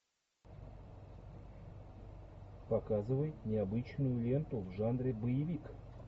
показывай необычную ленту в жанре боевик